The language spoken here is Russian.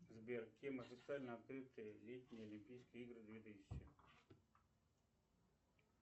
сбер кем официально открыты летние олимпийские игры две тысячи